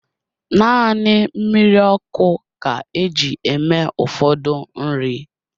Naanị mmiri ọkụ ka eji eme ụfọdụ nri